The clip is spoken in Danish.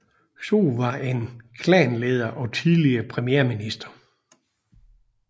Zog var en klanleder og tidligere premierminister